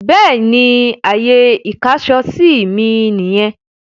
Bẹ́ẹ̀ni, Ààyè ìkáṣọsí mí nìyẹn.